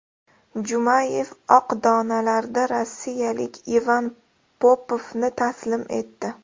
Jumayev oq donalarda rossiyalik Ivan Popovni taslim etdi.